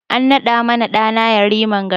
A naɗa ma ɗa na Yariman gari